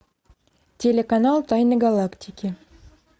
телеканал тайны галактики